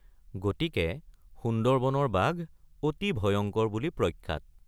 গতিকে সুন্দৰবনৰ বাঘ অতি ভয়ংকৰ বুলি প্ৰখ্যাত।